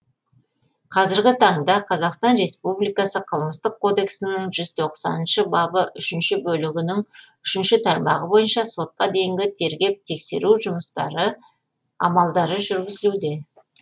қазіргі таңда қазақстан республикасының қылмыстық кодексінің жүз тоқсаныншы бабы үшінші бөлігінің үшінші тармағы бойынша сотқа дейінгі тергеп тексеру амалдары жүргізілуде